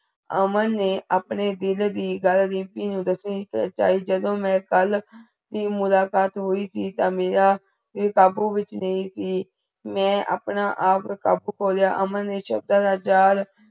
ਅਮਨ ਨੇ ਆਪਣੇ ਦਿਲ ਦੀ ਗੱਲ ਰੀਮਪੀ ਨੁ ਦੱਸਣੀ ਚਾਹੀ ਜਦੋ ਮੈ ਕਲ ਕੀ ਮੁਲਾਕਾਤ ਹੁਈ ਸੀ ਤਾ ਮੇਰਾ ਦਿਲ ਕਾਬੂ ਵਿਚ ਨਹੀ ਸੀ। ਮੈਂ ਅਪਣੇ ਆਪ ਕਾਬੂ ਪਾ ਲਿਆ, ਅਮਨ ਨੇ ਸਬਦਾਂ ਦਾ ਜਾਲ